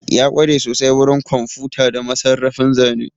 Ya kware sosai wurin kwamfuta da masarrafin zane